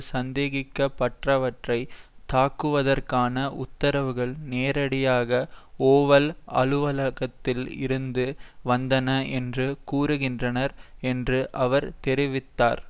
சந்தேகிக்கப்பட்டவற்றை தாக்குவதற்கான உத்தரவுகள் நேரடியாக ஓவல் அலுவலகத்தில் இருந்து வந்தன என்று கூறுகின்றனர் என்று அவர் தெரிவித்தார்